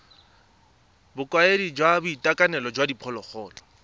bokaedi jwa boitekanelo jwa diphologolo